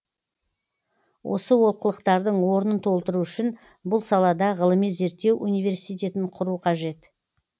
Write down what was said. осы олқылықтардың орнын толтыру үшін бұл салада ғылыми зерттеу университетін құру қажет